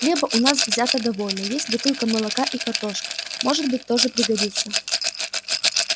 хлеба у нас взято довольно есть бутылка молока и картошка может быть тоже пригодится